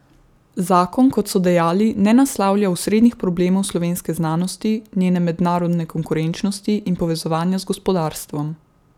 Zakon, kot so dejali, ne naslavlja osrednjih problemov slovenske znanosti, njene mednarodne konkurenčnosti in povezovanja z gospodarstvom.